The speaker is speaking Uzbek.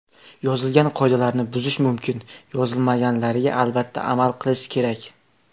Yozilgan qoidalarni buzish mumkin, yozilmaganlariga albatta amal qilish kerak.